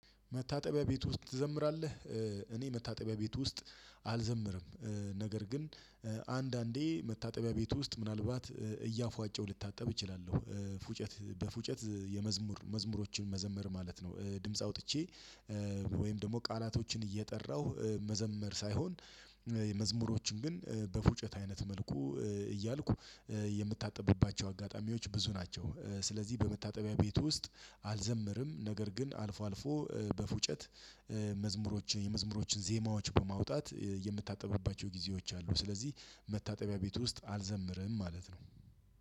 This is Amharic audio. መታጠቢያ ቤት ውስጥ ትዘምራለህ? እኔ መታጠቢያ ቤት ውስጥ አልዘምርም። ነገር ግን አንዳንዴ መታጠቢያ ቤት ውስጥ ምናልባት እያፏጨው ልታጠብ እችላለሁ ፉጨት በፉጨት የመዝሙር መዝሙሮችን መዘመር ማለት ነው። ድምጽ አውጥቼ ወይም ደግሞ ቃላቶችን እየጠራሁ መዘመር ሳይሆን መዝሙሮችን ግን በፉጨት አይነት መልኩ እያልኩ የምታጠብባቸው አጋጣሚዎች ብዙ ናቸው። ስለዚህ በመታጠቢያ ቤት ውስጥ አልዘምርም ነገር ግን አልፎ አልፎ በፉጨት መዝሙሮች የመዝሙሮችን ዜማዎች በማውጣት የምታጠብባቸው ጊዜዎች አሉ። ስለዚህ መታጠቢያ ቤት ውስጥ አልዘምርም ማለት ነው።